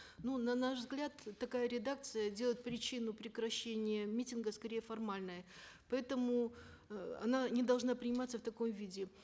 ну на наш взгляд такая редакция делает причину прекращения митинга скорее формальной поэтому э она не должна приниматься в таком виде